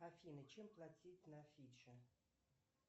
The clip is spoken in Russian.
афина чем платить на фиджи